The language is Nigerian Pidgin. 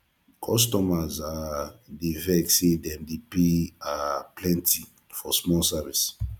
customers um dey vex say dem dey pay um plenty for small service